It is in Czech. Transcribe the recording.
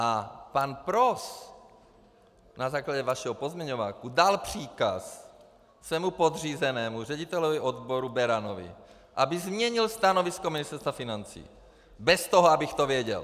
A pan Pros na základě vašeho pozměňováku dal příkaz svému podřízenému řediteli odboru Beranovi, aby změnil stanovisko Ministerstva financí, bez toho, abych to věděl!